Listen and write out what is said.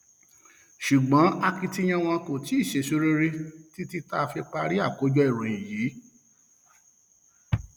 ṣùgbọn akitiyan wọn kò tí um ì sèso rere títí tá a fi parí àkójọ ìròyìn yìí um